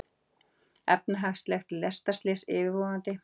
Efnahagslegt lestarslys yfirvofandi